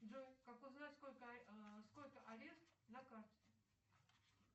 джой как узнать сколько арест на карте